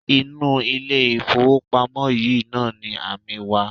Inú ilé-ìfowópamọ́ yìí náà ni amí wa.